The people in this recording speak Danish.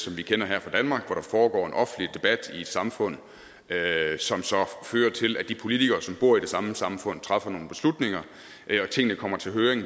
vi kender her fra danmark hvor der foregår en offentlig debat i et samfund som så fører til at de politikere som bor i det samme samfund træffer nogle beslutninger og tingene kommer til høring